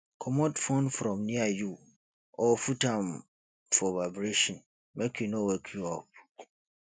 comot phone from near you or put am for vibration make e no wake you up